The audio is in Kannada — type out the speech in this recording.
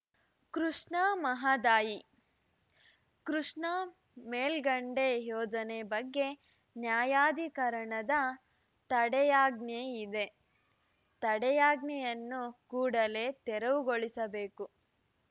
ಕೃಷ್ಣಾಮಹದಾಯಿ ಕೃಷ್ಣಾ ಮೇಲ್ಕಂಡೆ ಯೋಜನೆ ಬಗ್ಗೆ ನ್ಯಾಯಾಧಿಕರಣದ ತಡೆಯಾಜ್ಞೆ ಇದೆ ತಡೆಯಾಜ್ಞೆಯನ್ನು ಕೂಡಲೇ ತೆರವುಗೊಳಿಸಬೇಕು